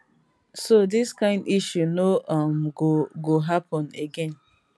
so dis kain issue no um go go happun again